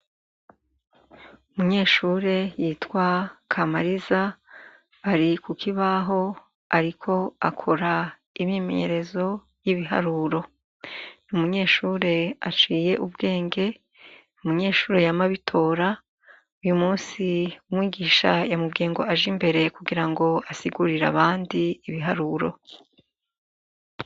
Umunyeshure yitwa Kamariza ari ku kibaho ariko akora imyimenyerezo y'ibiharuro. Ni umunyeshure aciye ubwenge, umunyeshure yama abitora. Uyu munsi umwigisha yamubwiye ngo aje imbere, kugira ngo asigurire abandi ibiharuro.